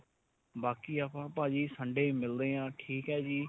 ਬਾਕੀ ਆਪਾਂ ਭਾਜੀ Sunday ਮਿਲਦੇ ਆਂ ਠੀਕ ਏ ਜੀ